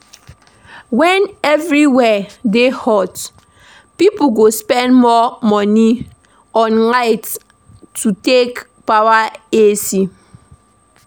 When everywhere dey hot pipo go spend more money on light to take power AC